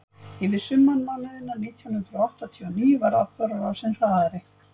yfir sumarmánuðina nítján hundrað áttatíu og níu varð atburðarásin hraðari